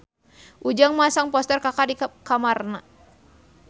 Ujang masang poster Kaka di kamarna